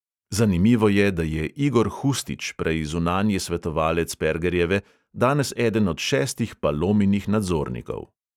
Zanimivo je, da je igor hustič, prej zunanji svetovalec pergerjeve, danes eden od šestih palominih nadzornikov.